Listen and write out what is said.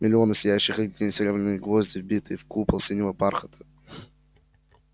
миллионы сияющих огней серебряные гвозди вбитые в купол синего бархата